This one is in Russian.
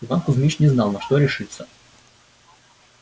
иван кузмич не знал на что решиться